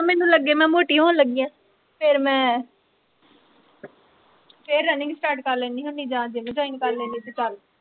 ਜਦ ਮੈਨੂੰ ਲੱਗੇ ਮੈਂ ਮੋਟੀ ਹੋਣ ਲੱਗੀ ਆ, ਫੇਰ ਮੈਂ ਫੇਰ running start ਕਰ ਲੈਂਦੀ ਹੁੰਦੀ ਜਾਂ gym join ਕਰ ਲੈਂਦੀ ਹੁੰਦੀ